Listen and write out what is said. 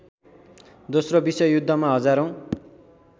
दोस्रो विश्वयुद्धमा हजारौँ